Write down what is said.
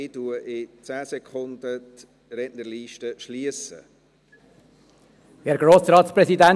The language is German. Ich schliesse die Rednerliste in 10 Sekunden.